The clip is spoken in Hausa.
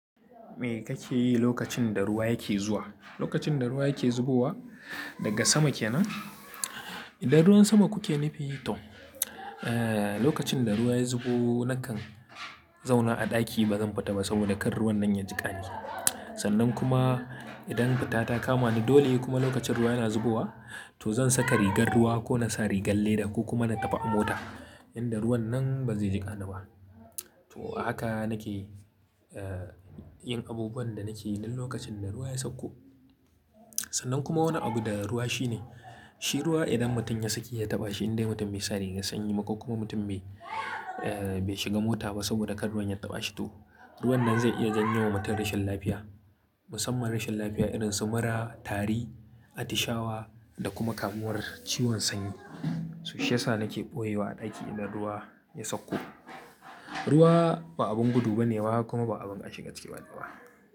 Me kake yi lokacin da ruwa yake zuwa? Lokacin da ruwa yake zubowa daga sama kenan? Idan ruwan sama kuke nufi to, eh, lokacin da ruwa ya zubo nakan zauna a ɗaki ba zan fita ba sabida kar ruwan nan ya jiƙa ni. Sannan kuma idan fita ta kamani dole kuma lokacin ruwa yana zubowa, to zan saka rigar ruwa ko na sa rigar leda ko kuma na tafi a mota inda ruwan nan bazai jiƙa ni ba. To haka nake, eh, yin abubuwan da nake yi duk lokacin da ruwa ya sauko. Sannan kuma wani abu da ruwa shine, shi ruwa idan mutum ya sake ya taɓa shi in dai mutum bai sa rigar sanyi ba ko kuma mutum bai, eh, bai shiga mota ba sabida kar ruwan ya taɓa shi to, ruwan nan zai iya janyo wa mutum rashin lafiya. Musamman rashin lafiya irin su mura, tari, atishawa da kuma kamuwar ciwon sanyi. To shiyasa nake ɓoyewa a ɗaki idan ruwa ya sauko. Ruwa ba abin gudu ba ne ba kuma ba abin a shiga ciki ba.